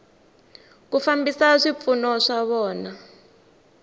ku fambisa swipfuno swa vona